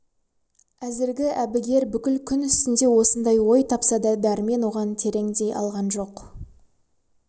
әзіргі әбігер бүкіл күн үстінде осындай ой тапса да дәрмен оғаң терендей алған жоқ